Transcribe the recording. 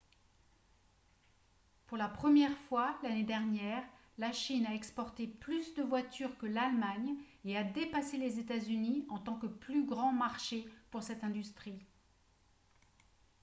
pour la première fois l'année dernière la chine a exporté plus de voitures que l'allemagne et a dépassé les états-unis en tant que plus grand marché pour cette industrie